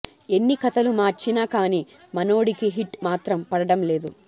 ఎన్ని కథలు మార్చిన కానీ మనోడికి హిట్ మాత్రం పడడం లేదు